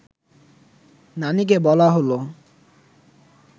নানিকে বলা হল